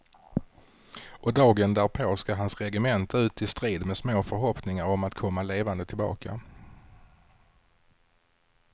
Och dagen därpå ska hans regemente ut i strid med små förhoppningar om att komma levande tillbaka.